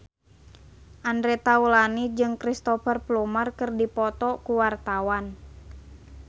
Andre Taulany jeung Cristhoper Plumer keur dipoto ku wartawan